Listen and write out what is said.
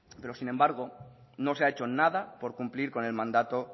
pero sin embargo no se ha hecho nada por cumplir con el mandato